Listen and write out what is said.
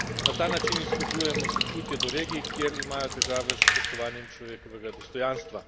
Na ta način izkazujemo sočutje do regij, kjer imajo težave s spoštovanjem človekovega dostojanstva.